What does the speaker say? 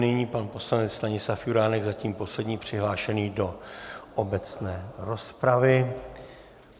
Nyní pan poslanec Stanislav Juránek, zatím poslední přihlášený do obecné rozpravy.